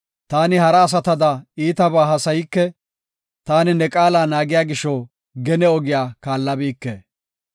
Taani hara asatada iitabaa haasayike; taani ne qaala naagiya gisho, gene ogiya kaallabike.